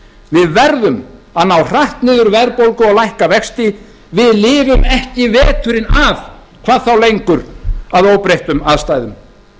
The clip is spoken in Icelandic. við verðum að ná hratt niður verðbólgu og lækka vexti við lifum ekki veturinn af hvað þá lengur að óbreyttum aðstæðum